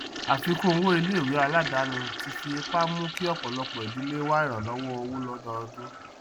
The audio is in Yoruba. àfikún owó iléìwé aladani ti fi ipá mú kí ọpọlọpọ ìdílé wá ìrànlọwọ owó lọdọodún